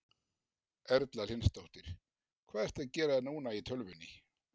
Erla Hlynsdóttir: Hvað ertu að gera núna í tölvunni?